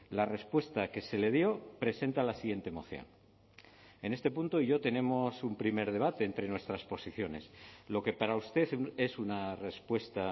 la respuesta que se le dio presenta la siguiente moción en este punto yo tenemos un primer debate entre nuestras posiciones lo que para usted es una respuesta